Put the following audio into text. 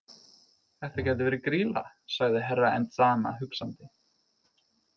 Þetta gæti verið Grýla, sagði Herra Enzana hugsandi.